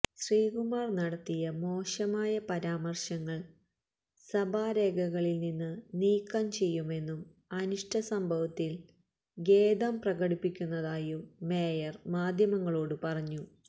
ശ്രീകുമാര് നടത്തിയ മോശമായ പരാമര്ശങ്ങള് സഭാരേഖകളില് നിന്ന് നീക്കം ചെയ്യുമെന്നും അനിഷ്ടസംഭവത്തില് ഖേദം പ്രകടിപ്പിക്കുന്നതായും മേയര് മാധ്യമങ്ങളോട് പറഞ്ഞു